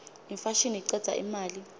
imfashini icedza imali